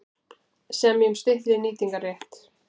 Semja um styttri nýtingarrétt